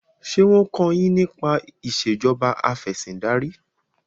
ṣe wón kọ yín nípa Ìṣèjọba Afẹ̀sìndarí?